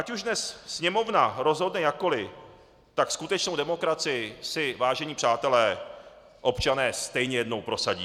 Ať už dnes Sněmovna rozhodne jakkoliv, tak skutečnou demokracii, si vážení přátelé, občané stejně jednou prosadí.